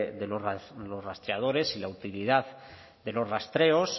de los rastreadores y la utilidad de los rastreos